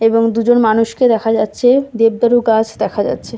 এবং দুজন মানুষকে দেখা যাচ্ছে দেবদারু গাছ দেখা যাচ্ছে।